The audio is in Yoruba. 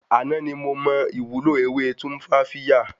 Àná ni mo mọ ìwúlò ewé Tumfafiya